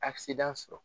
sɔrɔ